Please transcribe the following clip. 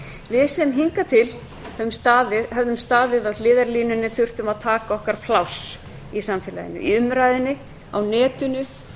við sem hingað til höfðum staðið á hliðarlínunni þurftum að taka okkar pláss í samfélaginu í umræðunni á netinu í